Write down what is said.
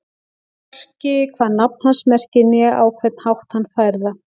Hvorki hvað nafn hans merkir né á hvern hátt hann fær það.